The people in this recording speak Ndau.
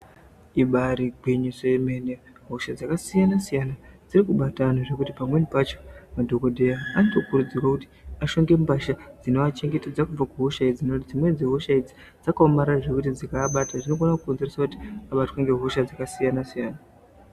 Ibari gwinyiso yemene hosha dzakasiyana siyana dzirikubate antu zvekuti pamweni pacho madhokodheya anotokurudzirwa kuti ashonge mbasha dzinoachengetedze kubva kuhosha idzi nekuti dzimweni dzehosha idzi dzikaabata dzinokone kukonzeresa kuti abatwe ngehosha dzakasiyana siyana.